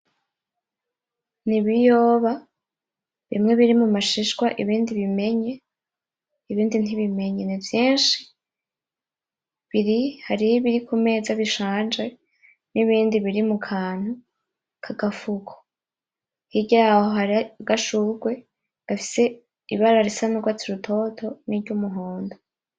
N'ibiyoba bimwe biri mu mashishwa; ibindi bimenye; ibindi ntibimenye, ni vyinshi, biri, harih' ibiri ku meza bishanje n'ibindi biri mu kantu k'agafuko, hirya yaho hariho agashurwe gafise ibara risa n'ugwatsi rutoto n'iryumuhondo.